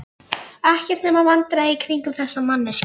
Ekkert nema vandræði í kringum þessa manneskju.